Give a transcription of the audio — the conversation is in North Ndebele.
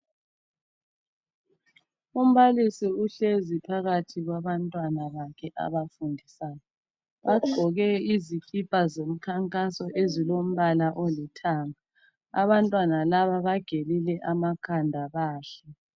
Umbalisi uhlezi phakathi kwabantwana bakhe abafundisayo. Bagqoke izikipa zomkhankaso ezilombala olithanga. Abantwana laba bagelile amakhanda bahle.